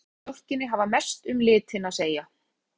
Fita og prótín í mjólkinni hafa mest um litinn að segja.